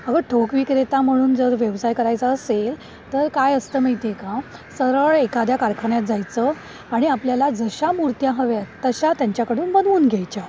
अगं ठोक विक्रेता म्हणून जर व्यवसाय करायचा असेल तर काय असतं माहितीयै का? सरळ एखाद्या कारखान्यात जायचं आणि आपल्याला जशा मूर्त्या हव्याएत तशा त्यांच्याकडून बनवून घ्यायच्या.